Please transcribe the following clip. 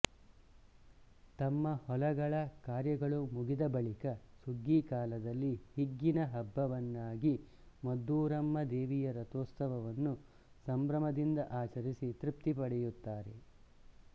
ತಮ್ಮ ಹೊಲಗಳ ಕಾರ್ಯಗಳು ಮುಗಿದಬಳಿಕ ಸುಗ್ಗಿಕಾಲದಲ್ಲಿ ಹಿಗ್ಗಿನ ಹಬ್ಬವನ್ನಾಗಿ ಮದ್ದೂರಮ್ಮ ದೇವಿಯ ರಥೋತ್ಸವವನ್ನು ಸಂಭ್ರಮದಿಂದ ಆಚರಿಸಿ ತೃಪ್ತಿಪಡೆಯುತ್ತಾರೆ